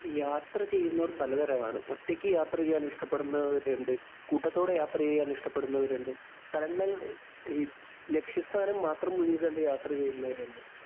യാത്ര ചെയ്യുന്നവര്‍ പലതരം ആണ്. ഒറ്റയ്ക്ക് യാത്ര ചെയ്യാന്‍ ഇഷ്ടപ്പെടുന്നവരുണ്ട്. കൂട്ടത്തോടെ യാത്ര ചെയ്യാന്‍ ഇഷ്ടപ്പെടുന്നവരുണ്ട്. സ്ഥലങ്ങള്‍, ലക്ഷ്യസ്ഥാനം മാത്രം മുന്നില്‍ കണ്ട് യാത്ര ചെയ്യുന്നവരുണ്ട്.